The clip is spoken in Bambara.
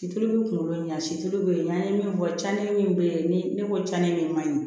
Situlu bɛ kunkolo ɲɛ situlu bɛ yen n'an ye min fɔ camidi min bɛ yen ni ne ko cani min man ɲi